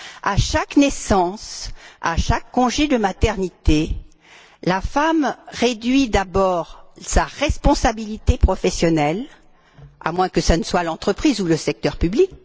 À chaque naissance, à chaque congé de maternité, la femme réduit d'abord ses responsabilités professionnelles à moins que l'initiative ne vienne de l'entreprise ou du secteur public.